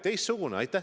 Teistsugune kui varasem.